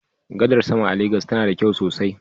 Gadar sama a Legas tana da kyau sosai.